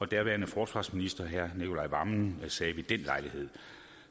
daværende forsvarsminister herre nicolai wammen sagde ved den lejlighed